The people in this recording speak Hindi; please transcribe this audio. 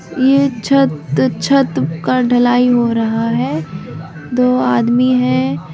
यह छत छत का ढलाई हो रहा है दो आदमी है।